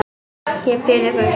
Ég bið ykkur!